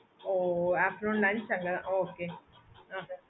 oh afternoon lunch அங்க தான் okay